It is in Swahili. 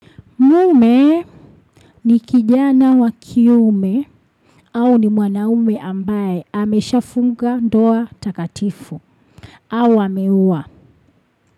Mume ni kijana wa kiume au ni mwanaume ambaye ameshafunga ndoa takatifu au ameoa.